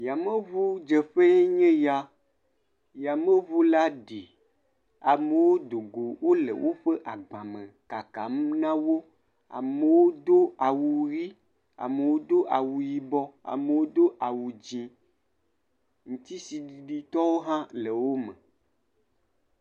Yameŋudzeƒee nye ya. Yameŋula ɖi, amewo dogo wole woƒe agbame kakam na wo. Amewo do awu ʋi, amewo do awu yibɔ, amewo do awu dzẽ. Ŋutisiɖiɖitɔwo hã le wome.